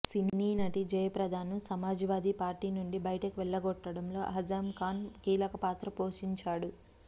సినీనటి జయప్రదకును Samajwadi party నుండి బయటకు వెళ్లగొట్టడంలో అజామ్ ఖాన్ కీలక పాత్ర పోషించాడు